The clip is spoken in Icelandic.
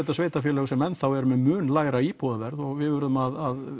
sveitarfélög sem enn þá eru með mun lægra íbúðaverð og við verðum að